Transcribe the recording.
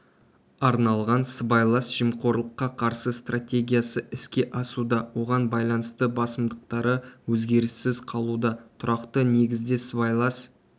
арналған сыбайлас жемқорлыққа қарсы стратегиясы іске асуда оған байланысты басымдықтары өзгеріссіз қалуда тұрақты негізде сыбайлас